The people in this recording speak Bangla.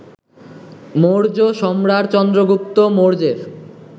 মৌর্য সম্রাট চন্দ্রগুপ্ত মৌর্যের